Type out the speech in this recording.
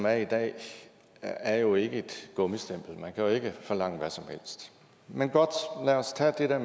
er i dag er jo ikke et gummistempel man kan jo ikke forlange hvad som helst men godt lad os tage det der